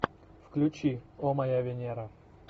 включи о моя венера